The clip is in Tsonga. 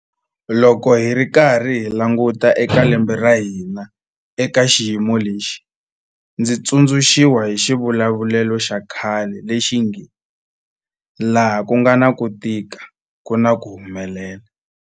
Loko hi karhi hi languta eka lembe ra hina eka xiyimo lexi, ndzi tsundzu xiwa hi xivulavulelo xa khale lexi nge 'laha ku nga na ku tika ku na ku humelela'.